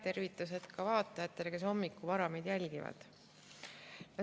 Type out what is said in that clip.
Tervitused ka vaatajatele, kes hommikul vara meid jälgivad!